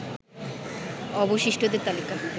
অবশিষ্টদের তালিকা